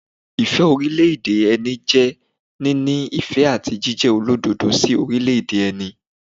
Ìfẹ́ orílẹ̀- èdè ẹni jẹ́ níní ìfẹ́ àti jíjẹ olódodo sí orílẹ̀- èdè ẹni.